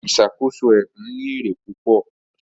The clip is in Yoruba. Ìṣàkóso ẹdun ní èrè púpò